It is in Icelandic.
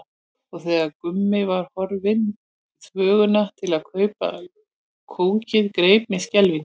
Og þegar Gummi var horfinn í þvöguna til að kaupa kókið greip mig skelfing.